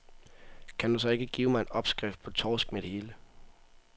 Kan du så ikke give mig en opskrift på torsk med det hele?